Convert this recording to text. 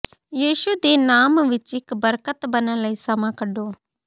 ਯਿਸੂ ਦੇ ਨਾਮ ਵਿੱਚ ਇੱਕ ਬਰਕਤ ਬਣਨ ਲਈ ਸਮਾਂ ਕੱਢੋ